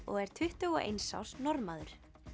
og er tuttugu og eins árs Norðmaður